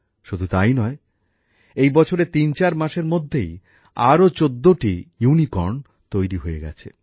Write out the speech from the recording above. শুধু তাই নয় এই বছরের তিনচার মাসের মধ্যেই আরও চোদ্দটা ইউনিকর্ন তৈরি হয়ে গেছে